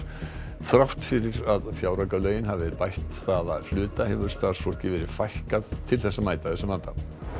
þrátt fyrir að fjáraukalögin hafi bætt það að hluta hefur starfsfólki verið fækkað til að mæta þessum vanda